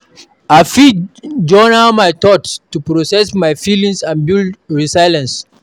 I fit journal my thoughts to process my feelings and build resilience.